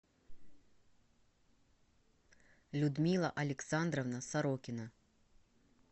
людмила александровна сорокина